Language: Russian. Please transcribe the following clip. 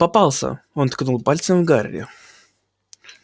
попался он ткнул пальцем в гарри